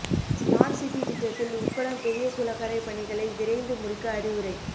smart city திட்டத்தில் உக்கடம் பெரியகுளக்கரை பணிகளை விரைந்து முடிக்க அறிவுரை